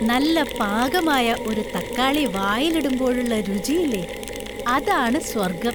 നല്ല പാകമായ ഒരു തക്കാളി വായിലിടുമ്പോഴുള്ള രുചിയില്ലേ, അതാണ് സ്വർഗം.